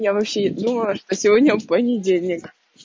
я вообще не думала сегодня понедельник